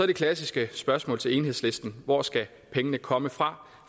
det klassiske spørgsmål til enhedslisten hvor skal pengene komme fra